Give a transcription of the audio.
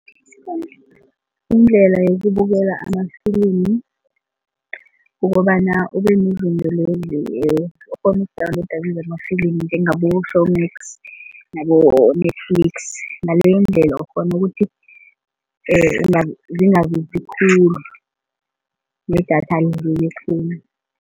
Indlela yokubuyela amafilimi kukobana ubenezinto lezi okghona uku-download kizo amafilimi njengabo-Showmax nabo-Netflix kutjho ngaleyondlela ukghona ukuthi khulu nedatha alidleki khulu.